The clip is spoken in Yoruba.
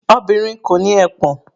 Obìnrin kò ní ẹpọ̀n.